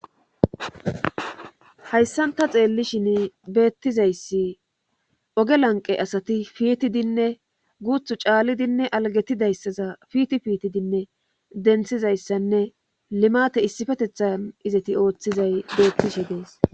hayssanta xeelli shin beettizayssi oge lanqe asati piitidinne guuthu caallidinne alagetidayssaza fiiti fiitidinne denthizayssanne limate issifetethan izati ooththizay beettishe dees